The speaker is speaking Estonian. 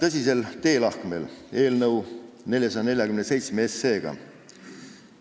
Me oleme täna eelnõuga 447 tõsisel teelahkmel.